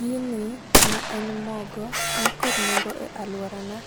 Gini ma en mogo nikod nengo ae aluorana